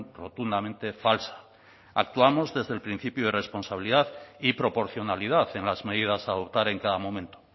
rotundamente falsa actuamos desde el principio de responsabilidad y proporcionalidad en las medidas a adoptar en cada momento